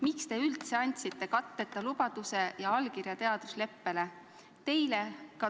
Miks te üldse andsite katteta lubaduse ja allkirja teadusleppele?